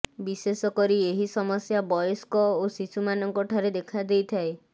ବିଶେଷ କରି ଏହି ସମସ୍ୟା ବୟସ୍କ ଓ ଶିଶୁମାନଙ୍କ ଠାରେ ଦେଖା ଦେଇଥାଏ